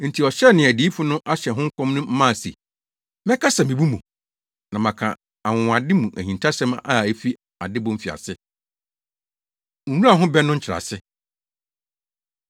Enti ɔhyɛɛ nea adiyifo no ahyɛ ho nkɔm no mma se: “Mɛkasa mmebu mu, na maka anwonwade mu ahintasɛm a efi adebɔ mfiase.” Nwura Ho Bɛ No Nkyerɛase